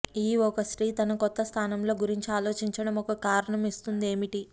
ఈ ఒక స్త్రీ తన కొత్త స్థానంలో గురించి ఆలోచించడం ఒక కారణం ఇస్తుంది ఏమిటి